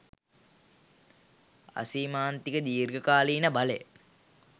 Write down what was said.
අසීමාන්තික. දීර්ඝ කාලීන බලය